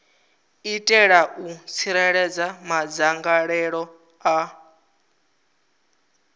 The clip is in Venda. itela u tsireledza madzangalelo a